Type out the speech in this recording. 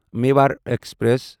Mewar express